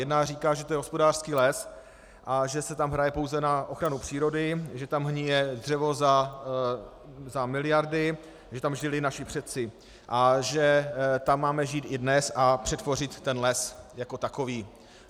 Jedna říká, že je to hospodářský les a že se tam hraje pouze na ochranu přírody, že tam hnije dřevo za miliardy, že tam žili naši předci a že tam máme žít i dnes a přetvořit ten les jako takový.